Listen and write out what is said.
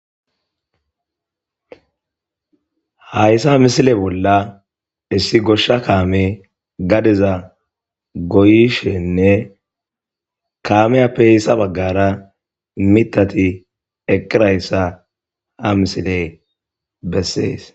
Hayssa h a misile bolla issi goshsha kaame gadeza goyishenne kaameya peheyssa baggara mitati eqirayssa ha misile bessees.